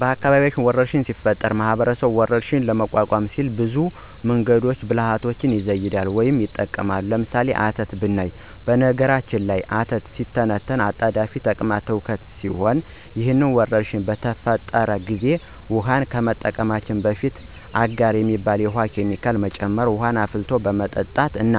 በአካባቢያችን ወረርሽኝ ሲፈጠር ማህበረሰቡ ወረርሽኙን ለመቋቋም ሲሉ ብዙ መንገዶችንና ብልሀቶችን ይዘይዳሉ ወይም ይጠቀማሉ። ለምሳሌ፦ አተት ብናይ በነገራችን ላይ አተት ሲተነተን አጣዳፊ ተቅማጥ ትውከት ሲሆን ይህ ወረርሽኝ በተፈጠረ ጊዜ ውሀን ከመጠቀማችን በፊት አጋር የሚባል የውሀ ኬሚካል መጨመር፣ ውሀን አፍልቶ በመጠጣት እና